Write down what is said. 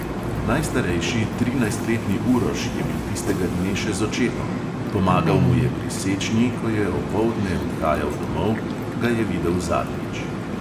Najstarejši, trinajstletni uroš je bil tistega dne še z očetom, pomagal mu je pri sečnji, ko je opoldne odhajal domov, ga je videl zadnjič.